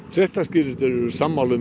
fréttaskýrendur eru sammála um